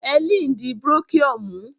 Hellen di brochure mú.